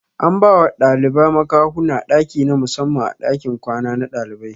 An bawa ɗaliba makahuwa ɗaki na musamman a ɗakin kwana na ɗalibai